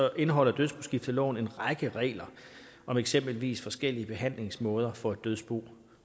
indeholder dødsboskifteloven en række regler om eksempelvis forskellige behandlingsmåder for et dødsbo